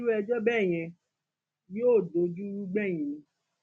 irú ẹjọ bẹẹ yẹn yóò dojúrú gbẹyìn ni